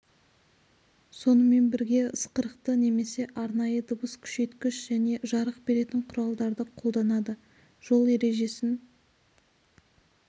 сонымен бірге ысқырықты немесе арнайы дыбыс күшейткіш және жарық беретін құралдарды қолданады жол ережесін